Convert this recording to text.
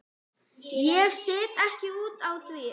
Ég set ekki út á það.